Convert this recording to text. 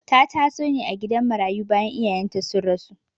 Ta taso ne a gidan marayu bayan iyayenta sun rasu..